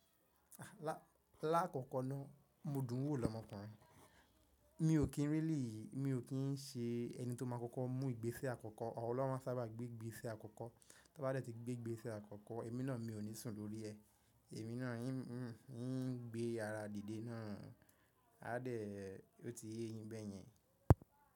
Láàkọ́kọ́ náà mo dùn ún wò lọ́mọkùnrin. Mi ò kí n really, mi ò kí n ṣe ẹni tó máa kọ́kọ́ mú ìgbésẹ́ àkọ́kọ́. Awon lọ́ wa máa n sábà gbé ìgbésẹ́ àkọ́kọ́. Tóbá dé tí gbé ìgbésẹ́ àkọ́kọ́, èmi náà mi ò ní sùn lórí ẹ. Èmi náà ń gbé ara dìde náà, a dẹ̀ ó ti yéyín bẹ́yẹn.